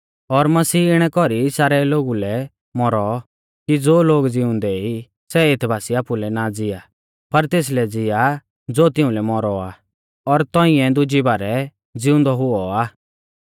और मसीह इणै कौरी सारै लोगु लै मौरौ कि ज़ो लोग ज़िउंदै ई सै एथ बासी आपुलै ना ज़िआ पर तेसलै ज़िआ ज़ो तिउंलै मौरौ आ और तौंइऐ दुजी बारै ज़िउंदौ हुऔ आ